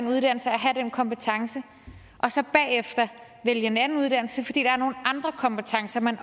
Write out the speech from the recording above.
uddannelse og have den kompetence og så bagefter vælge en anden uddannelse fordi der er nogle andre kompetencer man